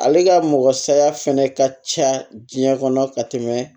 Ale ka mɔgɔ saya fɛnɛ ka ca diɲɛ kɔnɔ ka tɛmɛ